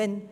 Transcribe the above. Nein